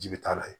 Ji bɛ taa lajɛ